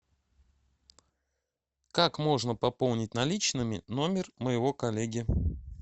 как можно пополнить наличными номер моего коллеги